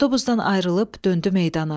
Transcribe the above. Avtobusdan ayrılıb döndü meydana.